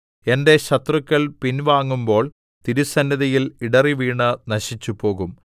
എന്റെ ശത്രുക്കൾ പിൻവാങ്ങുമ്പോൾ തിരുസന്നിധിയിൽ ഇടറിവീണ് നശിച്ചുപോകും